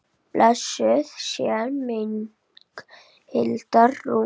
Blessuð sé minning Hildar Rúnu.